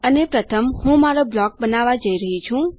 અને પ્રથમ હું મારો બ્લોક બનાવવા જઈ રહી છું